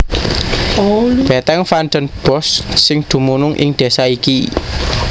Bètèng Van den Bosch sing dumunung ing désa iki